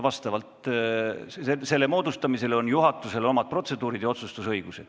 Selle jaoks on juhatusel oma protseduurid ja otsustusõigus.